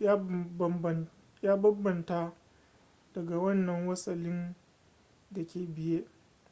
ya banbamta daga wannan wasalin da ke biye